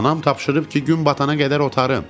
Anam tapşırıb ki, gün batana qədər otarın.